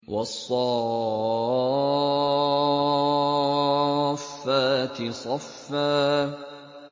وَالصَّافَّاتِ صَفًّا